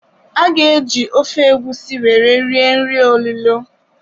A ga-eji ofe egusi were rie nri olilo.